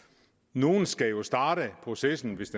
nogle skal jo starte processen hvis